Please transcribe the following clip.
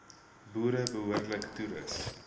boere behoorlik toerus